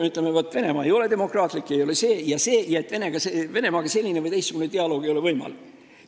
Me ütleme, et Venemaa ei ole demokraatlik, ta ei ole see ega see ja et Venemaaga ei ole selline või teistsugune dialoog võimalik.